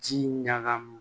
Ji ɲagami